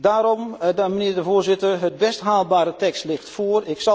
Daarom, mijnheer de Voorzitter, de best haalbare tekst ligt voor.